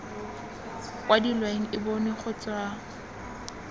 kwadilweng e bonwe go tswa